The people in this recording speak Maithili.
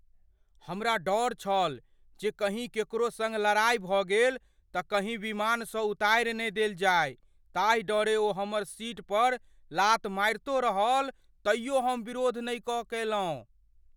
हमरा डर छल जे कहीँ केकरो सङ्ग लड़ाइ भऽ गेल तँ कहीं विमानसँ उतारि ने देल जाय, ताहि डरें ओ हमर सीट पर लात मारितो रहल तैयो हम विरोध नहि कएलहुँ।